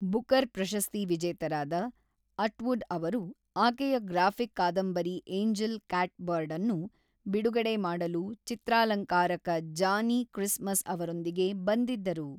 Booker ಪ್ರಶಸ್ತಿ-ವಿಜೇತರಾದ Atwood ಅವರು ಆಕೆಯ ಗ್ರಾಫಿಕ್ ಕಾದಂಬರಿ ಏಂಜೆಲ್ ಕ್ಯಾಟ್‌ಬರ್ಡ್ ಅನ್ನು ಬಿಡುಗಡೆ ಮಾಡಲು ಚಿತ್ರಾಲಂಕಾರಕ ಜಾನಿ ಕ್ರಿಸ್‌ಮಸ್ ಅವರೊಂದಿಗೆ ಬಂದಿದ್ದರು.